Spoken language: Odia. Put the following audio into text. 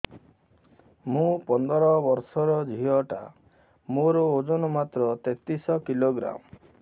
ମୁ ପନ୍ଦର ବର୍ଷ ର ଝିଅ ଟା ମୋର ଓଜନ ମାତ୍ର ତେତିଶ କିଲୋଗ୍ରାମ